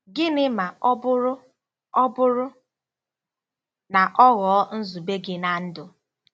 Gịnị ma ọ bụrụ ọ bụrụ na ọ ghọọ nzube gị ná ndụ?